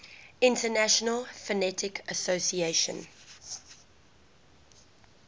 international phonetic association